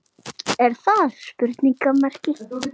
Er það?